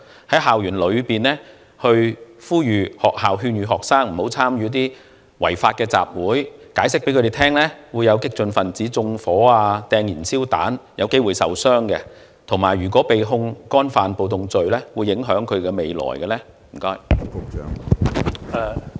例如，在校園內呼籲或勸諭學生不要參與違法集會，向他們解釋屆時會有激進分子縱火或投擲燃燒彈，以致他們有機會受傷，以及如果他們被控干犯暴動罪，他們的前途便會受到影響等。